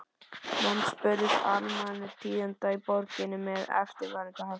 Menn spurðust almæltra tíðinda í borginni með eftirfarandi hætti